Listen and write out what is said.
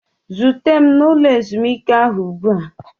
Zute m n'ụlọ ezumike ahụ ugbu a!